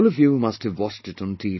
All of you must have watched it on T